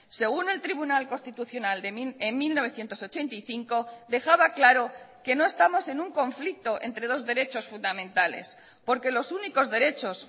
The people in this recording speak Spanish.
según el tribunal constitucional en mil novecientos ochenta y cinco dejaba claro que no estamos en un conflicto entre dos derechos fundamentales porque los únicos derechos